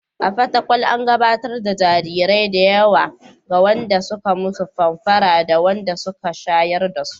A Fatakwal, an gabatar da jarirai da yawa ga wanda suka musu famfara da wanda suka shayar dasu.